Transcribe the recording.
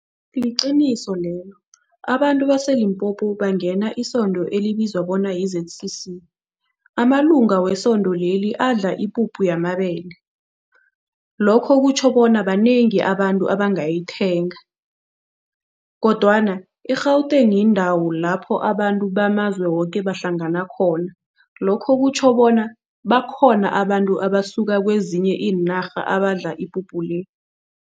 Liqiniso lelo, abantu baseLimpopo bangena isondo elibizwa bona yi-Z_C_C. Amalunga wesondo leli adla ipuphu yamabele. Lokho kutjho bona banengi abantu abangayithenga kodwana i-Gauteng yindawo lapho abantu bamazwe woke bahlangana khona, lokho kutjho bona bakhona abantu abasuka kwezinye iinarha abadla ipuphu le.